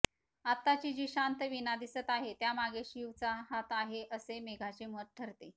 आताची जी शांत वीणा दिसत आहे त्यामागे शिवचा हात आहे असे मेघाचे मत ठरते